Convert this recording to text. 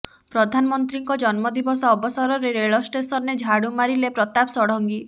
ପ୍ରଧାନମନ୍ତ୍ରୀଙ୍କ ଜନ୍ମ ଦିବସ ଅବସରରେ ରେଳ ଷ୍ଟେସନରେ ଝାଡୁ ମାରିଲେ ପ୍ରତାପ ଷଡ଼ଙ୍ଗୀ